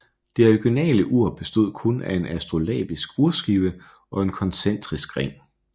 Det originale ur bestod kun af en astrolabisk urskive og en koncentrisk ring